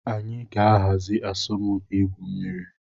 Anyị ga-ahazi asọmpi igwu mmiri.